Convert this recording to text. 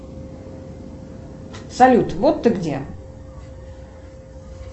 салют вот ты где